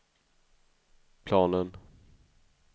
planen